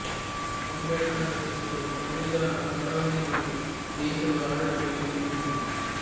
ಅಂಬೇಡ್ಕರ್ ರಚಿಸಿರುವ ಸಂವಿಧಾನದ ತಳಹದಿಯ ಮೇಲೆ ದೇಶದ ಆಡಳಿತ ವ್ಯವಸ್ಥೆ ನಿಂತಿದೆ